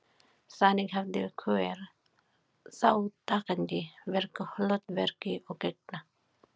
Þannig hafði hver þátttakandi virku hlutverki að gegna.